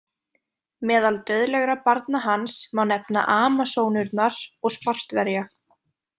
Meðal dauðlegra barna hans má nefna Amasónurnar og Spartverja.